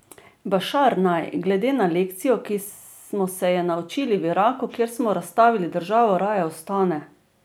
Bašar naj, glede na lekcijo, ki smo se je naučili v Iraku, kjer smo razstavili državo, raje ostane.